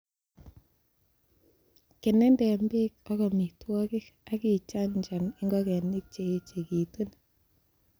Kenenden beek ak amitwogik, ak ichanchan ingogenik che echekitun.